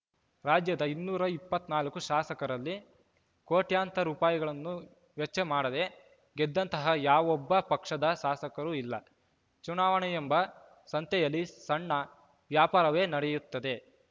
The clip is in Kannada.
ರಾಜ್ಯದ ಇನ್ನೂರ ಇಪ್ಪತ್ತ್ ನಾಲ್ಕು ಶಾಸಕರಲ್ಲಿ ಕೋಟ್ಯಾಂತರ ರುಪಾಯಿಗಳನ್ನು ವೆಚ್ಚ ಮಾಡದೇ ಗೆದ್ದಂತಹ ಯಾವೊಬ್ಬ ಪಕ್ಷದ ಶಾಸಕರೂ ಇಲ್ಲ ಚುನಾವಣೆಯೆಂಬ ಸಂತೆಯಲ್ಲಿ ಸಣ್ಣ ವ್ಯಾಪಾರವೇ ನಡೆಯುತ್ತದೆ